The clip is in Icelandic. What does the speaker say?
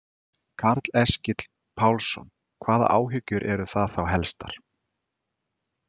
Karl Eskil Pálsson: Hvaða áhyggjur eru þá það helstar?